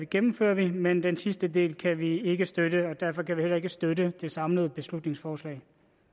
gennemfører vi men den sidste del kan vi ikke støtte og derfor kan vi heller ikke støtte det samlede beslutningsforslag